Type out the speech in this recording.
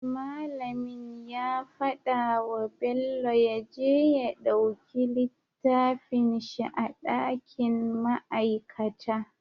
Mallamin ya faɗa wa bello yaje ya ɗauki littafin shi a dakin ma'aikata